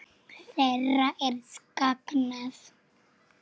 Þeirra er saknað.